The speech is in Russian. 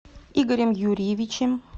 игорем юрьевичем